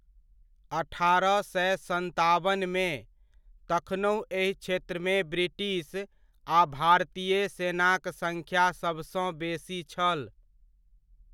अठारह सए सत्ताबनमे, तखनहुँ एहि क्षेत्रमे ब्रिटिश आ भारतीय सेनाक सड़्ख्या सभसँ बेसी छल।